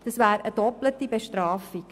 Das wäre dann eine doppelte Bestrafung.